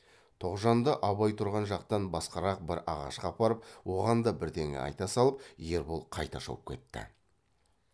тоғжанды абай тұрған жақтан басқарақ бір ағашқа апарып оған да бірдеңе айта салып ербол қайта шауып кетті